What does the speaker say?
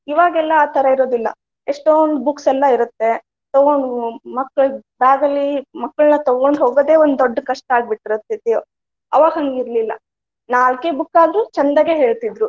ಇವಾಗ ಎಲ್ಲಾ ಆ ತರಾ ಇರೋದಿಲ್ಲಾ ಎಷ್ಟೊಂದ್ books ಎಲ್ಲಾ ಇರುತ್ತೆ ಅವನ್ನ ಮಕ್ಕಳ bag ಲ್ಲಿ ಮಕ್ಕಳನ ತುಗೊಂಡ ಹೋಗೋದೇ ಒಂದ ದೊಡ್ಡ ಕಷ್ಟಾ ಆಗಿಬಿಟ್ಟಿರ್ತೆತಿ. ಅವಾಗ ಹಂಗ ಇರ್ಲಿಲ್ಲಾ ನಾಲ್ಕೇ book ಆದ್ರು ಚಂದಗೆ ಹೇಳ್ತಿದ್ರು.